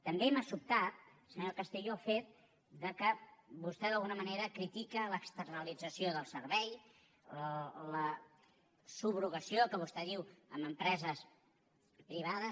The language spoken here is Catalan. també m’ha sobtat senyor castillo el fet que vostè d’alguna manera critica l’externalització del servei la subrogació que vostè diu a empreses privades